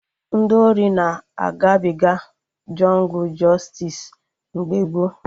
Ndị ori na-agabiga jọngụ jọstis mgbe gboo